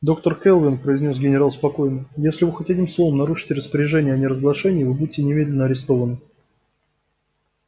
доктор кэлвин произнёс генерал спокойно если вы хоть одним словом нарушите распоряжения о неразглашении вы будете немедленно арестованы